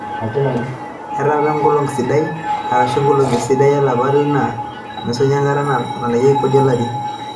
etaa apa enkolong esiadi arashu inkolongi esiadi olapa le ile enaa neishunye enkata nalakeki kodi olari.